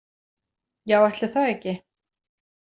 Já, ætli það ekki